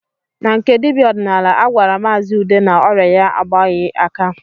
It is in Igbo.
Na nke dibịa ọdịnala, a gwara maazi Ude na ọrịa ya agbaghị aka